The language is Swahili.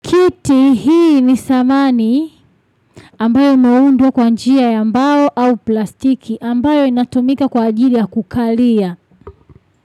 Kiti hii ni samani ambayo inaundwa kwa njia ya mbao au plastiki ambayo inatumika kwa ajili ya kukalia.